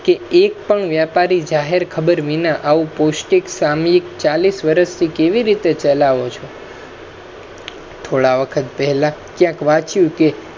કે એક પણ વ્યાપરી જાહેર ખબર વિના આવુ પૌષ્ટિક સામહિક ચાલીસ વર્ષ થી કેવી રીતે ચલાવો છો થોડા વખત પહેલા ક્યાંક વાચ્યુ કે